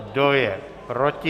Kdo je proti?